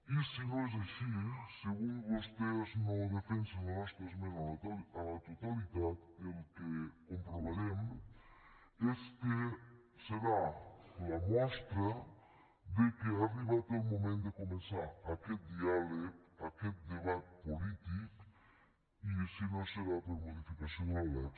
i si no és així si avui vostès no defensen la nostra esmena a la totalitat el que comprovarem és que serà la mostra que ha arribat el moment de començar aquest diàleg aquest debat polític i si no serà per a modificació de la lec